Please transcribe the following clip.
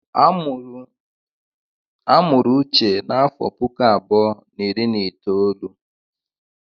A mụrụ n'afọ puku abụọ na iri na itoolu.